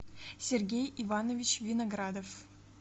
сергей иванович виноградов